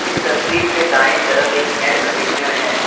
इस तस्वीर के दाएं तरफ एक एयर कंडीशनर है।